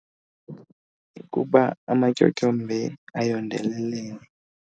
Kukuba amatyotyombe ayondelelene.